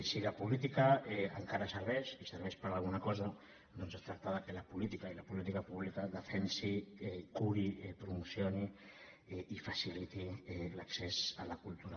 si la política encara serveix i serveix per a alguna cosa doncs es tracta que la política i la política pública defensi curi promocioni i faciliti l’accés a la cultura